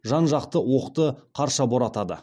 жан ақты оқты қарша боратады